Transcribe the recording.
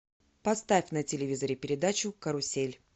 поставь на телевизоре передачу карусель